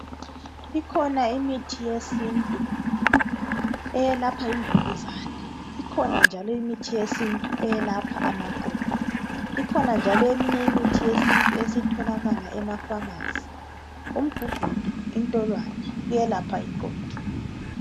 Ikhona imithi yesintu eyelapha imvukuzane. Ikhona njalo imithi yesintu eyelapha amaqolo. Ikhona njalo eminye imithi yesintu esitholakala ema pharmacy. Umgugudu lentolwane kuyelapha iqolo.